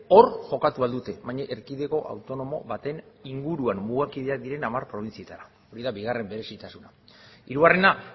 hor jokatu ahal dute baina erkidego autonomo baten inguruan mugakideak diren hamar probintzietara hori da bigarren berezitasuna hirugarrena